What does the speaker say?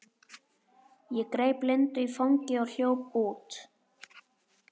Ég greip Lindu í fangið og hljóp út.